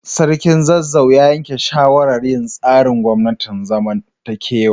Sarkin Zazzau ya yanke shawarar yin tsarin gwamnatin zamantakewa.